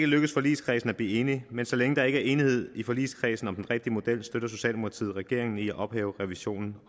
lykkedes forligskredsen at blive enig men så længe der ikke enighed i forligskredsen om den rigtige model støtter socialdemokratiet regeringen i at ophæve revisionen